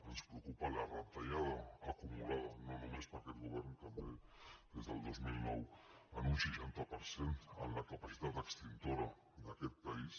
ens preocupa la retallada acumula·da no només per aquest govern també des del dos mil nou en un seixanta per cent en la capacitat extintora d’aquest pa·ís